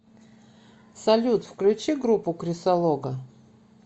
салют включи группу крисолого